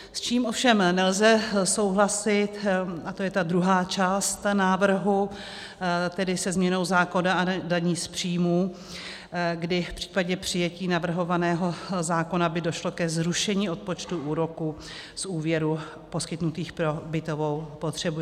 S čím ovšem nelze souhlasit - a to je ta druhá část návrhu - tedy se změnou zákona o dani z příjmů, kdy v případě přijetí navrhovaného zákona by došlo ke zrušení odpočtu úroků z úvěrů poskytnutých pro bytovou potřebu.